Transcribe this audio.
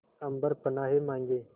अम्बर पनाहे मांगे